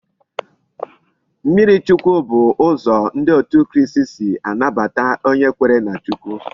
Mmiri chukwu bu uzo ndi out kristi si anabata onye kwere na Chukwu